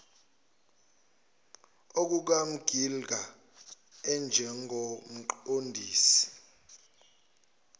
okukams gilder njengomqondisi